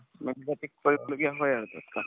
কৰিব লগীয়া হয় আৰু